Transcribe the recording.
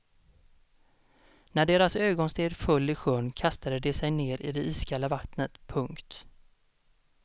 När deras ögonsten föll i sjön kastade de sig ner i det iskalla vattnet. punkt